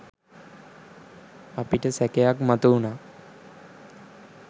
අපිට සැකයක් මතුවුණා.